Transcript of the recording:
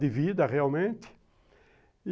De vida, realmente.